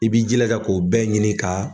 I b'i jilaja k'o bɛɛ ɲini ka.